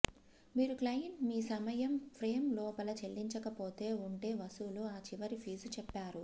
మీరు క్లయింట్ మీ సమయం ఫ్రేమ్ లోపల చెల్లించకపోతే ఉంటే వసూలు ఆ చివరి ఫీజు చెప్పారు